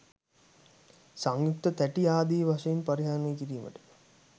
සංයුක්ත තැටි ආදී වශයෙන් පරිහරණය කිරීමට